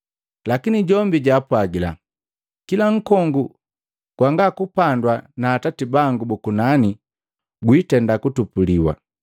Lakini jombi jwaapwagila, “Kila nkongu gwanga kupandwa na atati bangu bu kunani, gwitenda kutupuliwa.